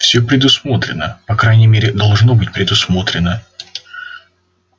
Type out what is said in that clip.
всё предусмотрено по крайней мере должно быть предусмотрено